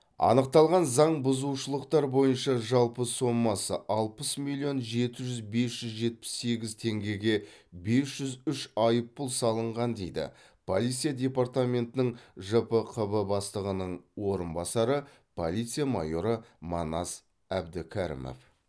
анықталған заңбұзушылықтар бойынша жалпы сомасы алпыс миллион жеті жүз бес жүз жетпіс сегіз теңгеге бес жүз үш айыппұл салынған дейді полиция департаментінің жпқб бастығының орынбасары полиция майоры манас әбдікәрімов